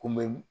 Kunbɛ